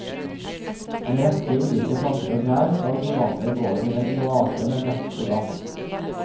En rekke ulike planter og trær skal forvandle gården til en oase med bekk og dam.